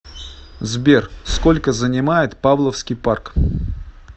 сбер сколько занимает павловский парк